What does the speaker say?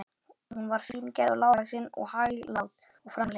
Hún var fíngerð og lágvaxin og hæglát og framhleypin.